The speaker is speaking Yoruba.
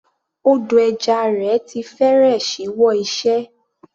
Odò ẹja rẹ̀ ti fẹ́rẹ̀ ṣíwọ́ iṣẹ́.